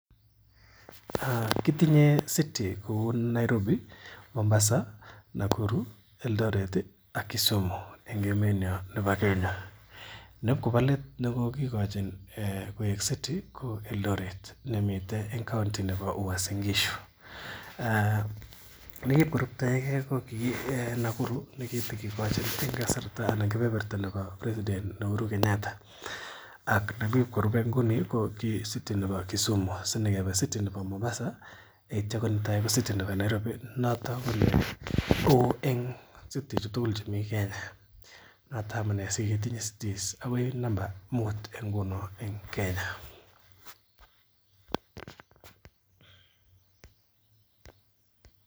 Kitinye city kou: Nairobi, Mombasa, Nakuru, Eldoret ak Kisumu an emenyon bo Kenya. Ne ibkobo let ko kogikochi koik city ko Eldoret en county nebo UasinGishu, Ne ki ibkoruptoi ge ko kii Nakuru ,ne kigikochi en kasarta nekibo president Uhuru Kenyatta ak ne kiibkorupe inoni ko ki city nebo Kisumu sinyikebe city nebo Mombasa yeityo konetai ko city nebo Nairobi noton ko neo en citishek tugul chemi Kenya. Noton amune siketinye cities agoi number muut en Kenya.